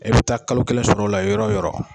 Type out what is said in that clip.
E bi taa kalo kelen sɔrɔ o la yɔrɔ o yɔrɔ